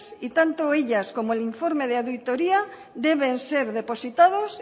y tanto ellas como el informe de auditoría deben ser depositados